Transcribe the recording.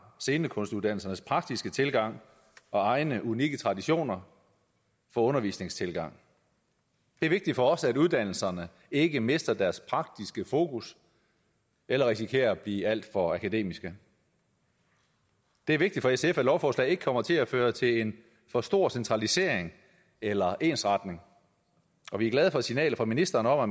scenekunstuddannelsernes praktiske tilgang og egne unikke traditioner for undervisningstilgang det er vigtigt for os at uddannelserne ikke mister deres praktiske fokus eller risikerer at blive alt for akademiske det er vigtigt at lovforslaget ikke kommer til at føre til en for stor centralisering eller ensretning og vi er glade for signalet fra ministeren om at